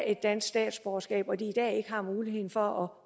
et dansk statsborgerskab og hvor de i dag ikke har muligheden for